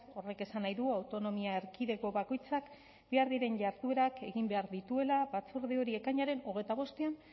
horrek esan nahi du autonomia erkidego bakoitzak behar diren jarduerak egin behar dituela batzorde hori ekainaren hogeita bostean